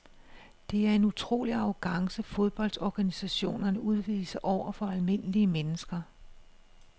Det er en utrolig arrogance fodboldorganisationerne udviser over for almindelige mennesker.